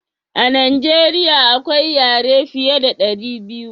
a najeriya akwai yare fiya da dari biyu